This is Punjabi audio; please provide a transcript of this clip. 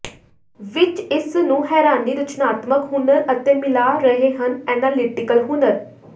ਵਿਚ ਇਸ ਨੂੰ ਹੈਰਾਨੀ ਰਚਨਾਤਮਕ ਹੁਨਰ ਅਤੇ ਮਿਲਾ ਰਹੇ ਹਨ ਐਨਾਲਿਟੀਕਲ ਹੁਨਰ